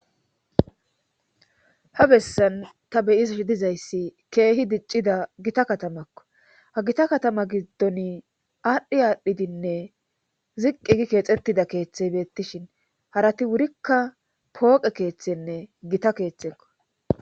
ha bessan ta bey'ashe dizayssi keehi diccida gita katamakko ha gita katama giddon aadhdhi aadhdhidinne ziqqi gi keexettida keeththey beettishin harati wurikka pooqe keeththenne gita keeththekko